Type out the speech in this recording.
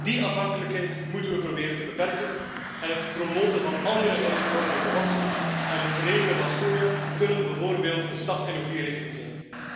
Die afhankelijkheid moeten we proberen te beperken en het promoten van andere eiwithoudende gewassen en het veredelen van soja kunnen bijvoorbeeld een stap in de goede richting zijn.